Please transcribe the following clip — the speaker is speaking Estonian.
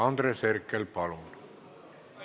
Andres Herkel, palun!